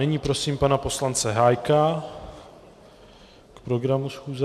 Nyní prosím pana poslance Hájka k programu schůze.